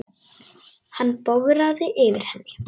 Hann bograði yfir henni.